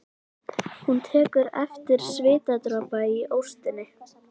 Hún tekur eftir svitadropa í óstinni.